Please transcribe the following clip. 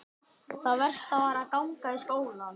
Það versta var að ganga í skólann.